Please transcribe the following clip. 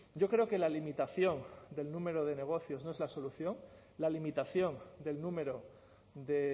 yo creo que la limitación del número de negocios no es la solución la limitación del número de